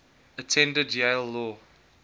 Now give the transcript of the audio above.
attended yale law